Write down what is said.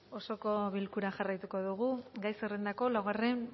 osoko bilkura jarraituko dugu gai zerrendako laugarren